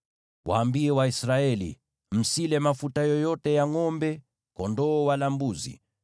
“Waambie Waisraeli: ‘Msile mafuta yoyote ya ngʼombe, kondoo wala mbuzi.